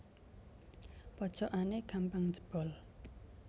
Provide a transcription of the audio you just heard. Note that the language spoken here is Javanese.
Pojokane gampang jebol